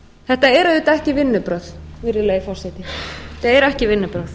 þetta eru auðvitað ekki vinnubrögð virðulegi forseti þetta eru ekki vinnubrögð